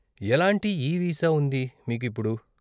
ఎలాంటి ఈ వీసా ఉంది మీకు ఇప్పుడు?